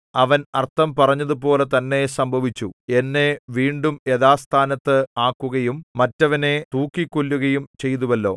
അവൻ അർത്ഥം പറഞ്ഞതുപോലെ തന്നെ സംഭവിച്ചു എന്നെ വീണ്ടും യഥാസ്ഥാനത്ത് ആക്കുകയും മറ്റവനെ തൂക്കിക്കൊല്ലുകയും ചെയ്തുവല്ലോ